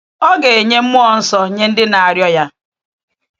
Ọ ga “enye mmụọ nsọ nye ndị na-arịọ Ya.”